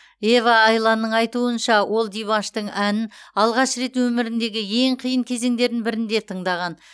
ева айланның айтуынша ол димаштың әнін алғаш рет өміріндегі ең қиын кезеңдердің бірінде тыңдаған